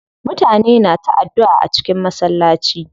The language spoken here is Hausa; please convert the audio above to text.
Mutane na ta addua a cikin masallaci.